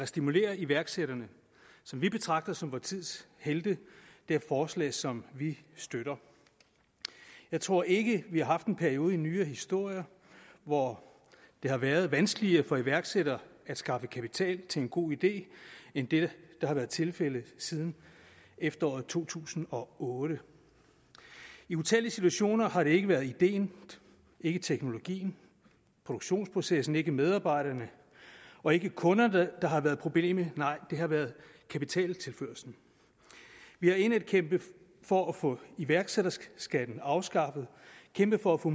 stimulere iværksætterne som vi betragter som vor tids helte er forslag som vi støtter jeg tror ikke at vi har haft en periode i nyere historie hvor det har været vanskeligere for iværksættere at skaffe kapital til en god idé end det har været tilfældet siden efteråret to tusind og otte i utallige situationer har det ikke været ideen ikke teknologien produktionsprocessen ikke medarbejderne og ikke kunderne der har været problemet nej det har været kapitaltilførslen vi har indædt kæmpet for at få iværksætterskatten afskaffet kæmpet for at få